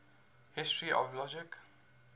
history of logic